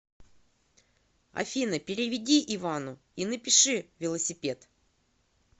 афина переведи ивану и напиши велосипед